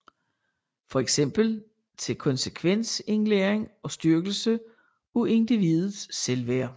For eksempel til konsekvensindlæring og styrkelse af individets selvværd